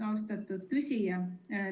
Austatud küsija!